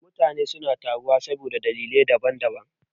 Mutane suna taruwa saboda dalilai da daban daban.